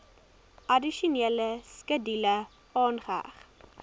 addisionele skedule aangeheg